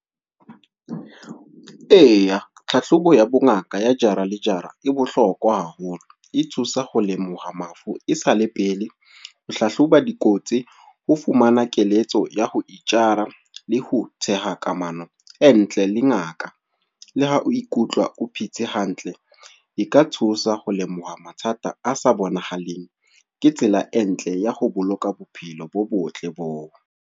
Eya, tlhahlobo ya bongaka ya jara le jara, e bohlokwa haholo. E thusa ho lemoha mafu e sale pele. Ho hlahloba dikotsi, ho fumana keletso ya ho itjara le ho theha kamano e ntle le ngaka. Le ha o ikutlwa o phetse hantle, e ka thusa ho lemoha mathata a sa bonahaleng. Ke tsela e ntle ya ho boloka bophelo bo botle bo o.